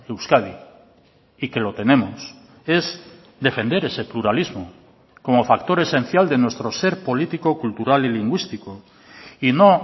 euskadi y que lo tenemos es defender ese pluralismo como factor esencial de nuestro ser político cultural y lingüístico y no